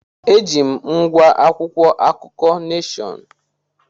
Eji m ngwá akwụkwọ akụkọ Neshọn.